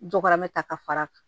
Jokɔrɔm ta ka far'a kan